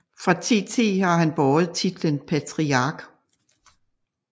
Fra 1010 har han båret titlen patriark